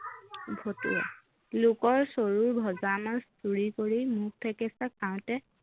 ভতুৱা - লোকৰ চৰুৰ ভজা মাছ চুৰি কৰি মুখ থেকেচা খাওতেই